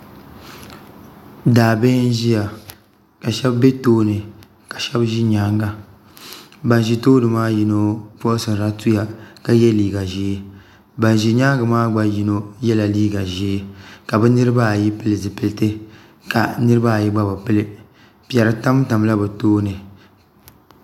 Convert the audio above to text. Daabihi n ʒiya ka shab bɛ tooni ka shab bɛ nyaanga ban ʒi tooni maa puuni yino puɣusirila tuya ka yɛ liiga ʒiɛ ban ʒi nyaangi maa gba puuni yino yɛla liiga ƶiɛ ka bi niraba ayi pili zipiliti ka bi niraba ayi gba bi pili piɛri tamtamla bi tooni